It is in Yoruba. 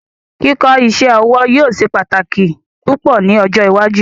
Kíkọ iṣẹ-ọwọ yóò ṣẹ̀ pátákì pupọ ni ọjọ́ ìwájú